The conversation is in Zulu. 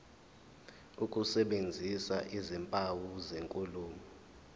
ukusebenzisa izimpawu zenkulumo